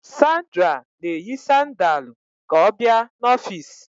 Sandra na-eyi sandaalu ka ọ bịa n'ọfịs